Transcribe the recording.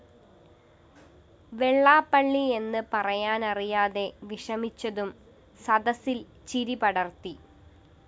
വെള്ളാപ്പള്ളി എന്ന്് പറയാനറിയാതെ വിഷമിച്ചതും സദസില്‍ ചിരി പടര്‍ത്തി